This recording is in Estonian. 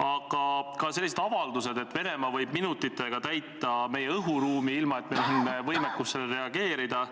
Aga ka sellised avaldused, et Venemaa võib minutitega täita meie õhuruumi, ilma et meil oleks võimekust sellele reageerida,